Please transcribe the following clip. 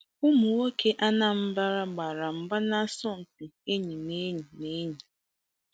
Ụmụ nwoke Anambra gbara mgba nasọmpi enyi na enyi. na enyi.